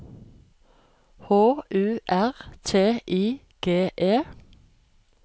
H U R T I G E